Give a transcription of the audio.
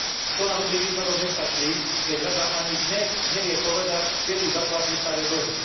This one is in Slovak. To na dobrý výsledok nestačí, keď Rada ani dnes nevie povedať, kedy zaplatí staré dlhy.